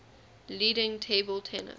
leading table tennis